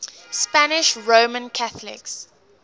spanish roman catholics